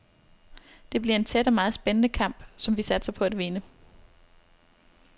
Det bliver en tæt og meget spændende kamp, som vi satser på at vinde.